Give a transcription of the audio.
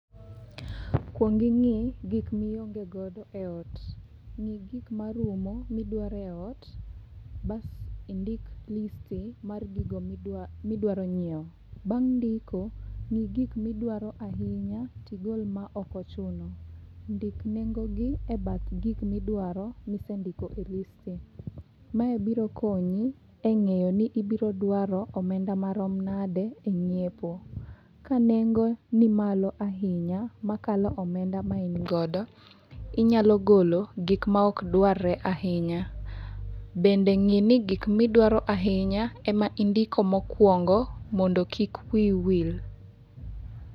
Kuong ing'i gik mionge godo e ot. Ng'i gik marumo midwaro e ot, bas indik listi mar gigo midwaro nyiewo. Bang' ndiko, ng'i gik midwaro ahinya, tigol ma okochuno. Ndik nengo gi e bath gik midwaro misendiko e listi. Mae biro konyi e ng'eyo ni ibiro dwaro omenda marom nade e nyiepo. Ka nengo ni malo ahinya makalo omenda ma in godo, inyalo golo gik am ok dwarre ahinya. Bende ng'e ni gik midwaro ahinya ema indiko mokuongo mondo kik wii wil.